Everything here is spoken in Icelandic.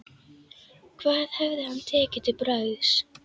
Hvað hefði hann tekið til bragðs?